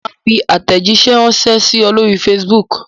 Mo máa fi àtẹ̀jíṣẹ́ ránṣẹ́ sí ẹ lóri Facebook.